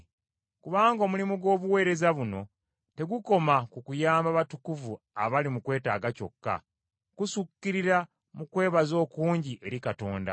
Kubanga omulimu gw’obuweereza buno tegukoma ku kuyamba batukuvu abali mu kwetaaga kyokka, kusukkirira mu kwebaza okungi eri Katonda.